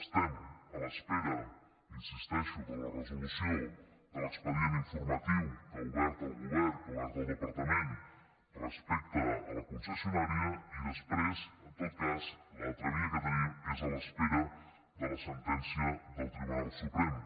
estem a l’espera hi insisteixo de la resolució de l’expedient informatiu que ha obert el govern que ha obert el departament respecte a la concessionària i després en tot cas l’altra via que tenim és a l’espera de la sentència del tribunal suprem